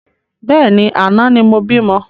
Bẹ́ẹ̀ni, àná ni mo bímọ